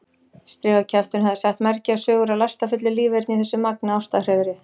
Strigakjafturinn hafði sagt mergjaðar sögur af lastafullu líferni í þessu magnaða ástarhreiðri.